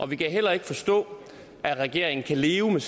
vi kan heller ikke forstå at regeringen kan leve med